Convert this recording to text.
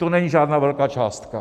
To není žádná velká částka.